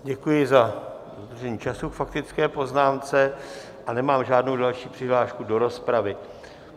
Děkuji za dodržení času k faktické poznámce a nemám žádnou další přihlášku do rozpravy.